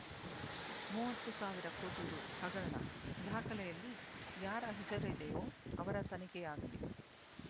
ಮೂವತ್ತು ಸಾವಿರ ಕೋಟಿ ರೂ ಹಗರಣ ದಾಖಲೆಯಲ್ಲಿ ಯಾರ ಹೆಸರಿದೆಯೋ ಅವರ ತನಿಖೆಯಾಗಲಿ